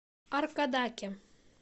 аркадаке